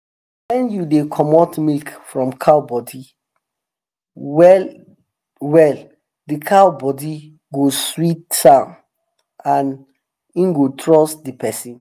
when you dey comot milk from cow body well they cow body go sweet am and em go trust de person